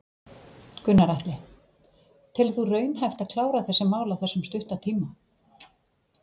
Gunnar Atli: Telur þú raunhæft að klára þessi mál á þessum stutta tíma?